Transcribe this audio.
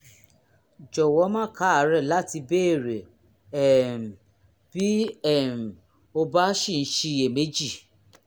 jọ̀wọ́ má káàárẹ́ láti béèrè um bí um o bá ṣì ń ṣiyèméjì